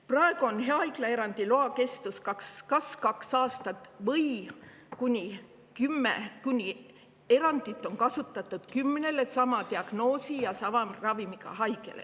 Praegu kehtib haiglaerandi luba kas kaks aastat või kuni kümne, kui erandit on kasutatud kümnel sama diagnoosiga ja sama ravimit saaval haigel.